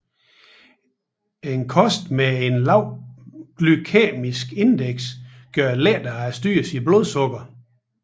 En kost med et lavt glykæmisk indeks gør det lettere at styre sit blodsukker